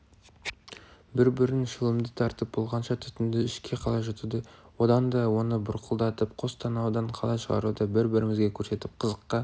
бір-бір шылымды тартып болғанша түтінді ішке қалай жұтуды одан оны бұрқылдатып қос танаудан қалай шығаруды бір-бірімізге көрсетіп қызыққа